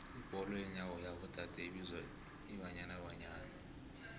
ibholo yenyawo yabo dade ibizwa ibanyana banyana